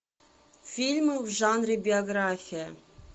фильмы в жанре биография